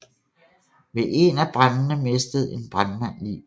Ved en af brandene mistede en brandmand livet